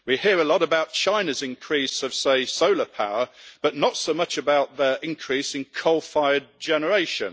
We hear a lot about China's increase of, say, solar power but not so much about their increasing coal-fired generation.